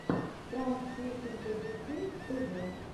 пранк песни для детей тв